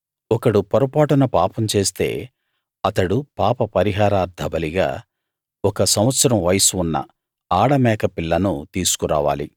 ఒకడు పొరపాటున పాపం చేస్తే అతడు పాపపరిహారార్థ బలిగా ఒక సంవత్సరం వయస్సు ఉన్న ఆడమేక పిల్లను తీసుకురావాలి